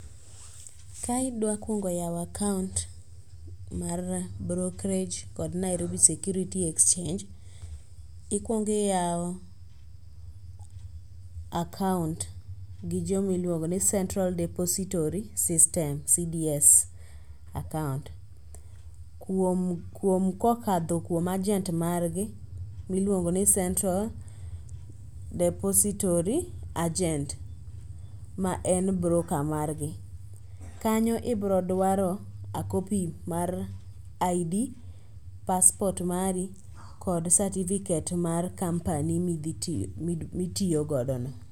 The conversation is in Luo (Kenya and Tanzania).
Ka idwa kuongo yawo akaont mar brokerage kod Nairobi Security Exchange, ikwongi iyawo akaont gi jomiluongo ni Central Desipotory System (CDS) akaont. Kokadho kuom ajent margi, miluongo ni central desipotory agent ma en broka margi. Kanyo ibrodwaro a kopi mar id, paspot mari, kod sativiket mar kampani mitiyogodo no.